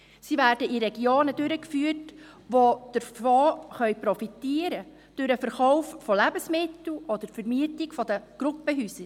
Sie werden in Regionen durchgeführt, die davon profitieren können – durch den Verkauf von Lebensmitteln oder durch die Vermietung von Gruppenhäusern.